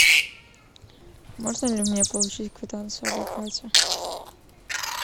можно ли мне получить квитанцию об оплате